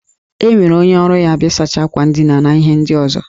Enwere onye ọrụ ya bụ ịsacha akwa ndina na ihe ndị ọzọ